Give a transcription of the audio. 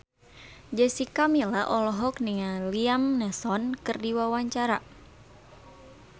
Jessica Milla olohok ningali Liam Neeson keur diwawancara